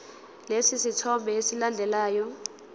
lesi sithombe esilandelayo